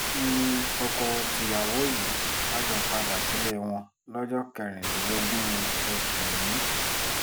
n ní tọkọ-tìyàwó yìí bá jọ padà sílé wọn lọ́jọ́ kẹrìndínlógún oṣù yìí